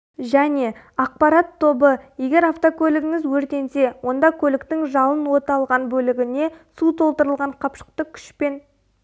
және ақпарат тобы егер автокөлігіңіз өртенсе онда көліктің жалын от алған бөлігіне су толтырылған қапшықты күшпен